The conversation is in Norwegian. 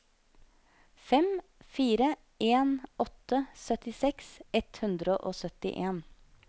fem fire en åtte syttiseks ett hundre og syttien